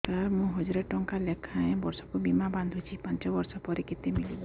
ସାର ମୁଁ ହଜାରେ ଟଂକା ଲେଖାଏଁ ବର୍ଷକୁ ବୀମା ବାଂଧୁଛି ପାଞ୍ଚ ବର୍ଷ ପରେ କେତେ ମିଳିବ